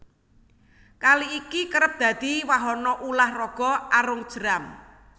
Kali iki kerep dadi wahana ulah raga arung jeram